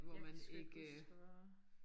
Jeg kan sgu ikke huske hvor